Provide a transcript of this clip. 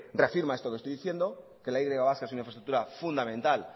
reafirma esto que estoy diciendo que la y vasca es una infraestructura fundamental